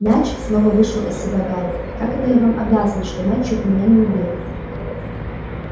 мяч снова вышел из себя гарри как это я вам обязан что мяч чуть меня не убил